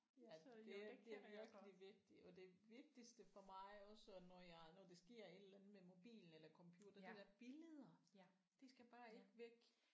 Ja det er det er virkelig vigtigt og det vigtigste for mig også når jeg når der sker et eller andet med mobilen eller computeren de der billeder de skal bare ikke væk